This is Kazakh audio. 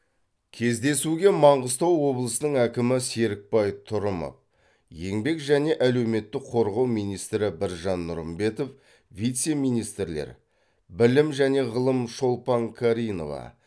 кездесуге маңғыстау облысының әкімі серікбай тұрымов еңбек және әлеуметтік қорғау министрі біржан нұрымбетов вице министрлер білім және ғылым шолпан каринова